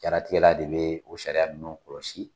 Jaratigɛla de be o sariya ninnu kɔlɔsi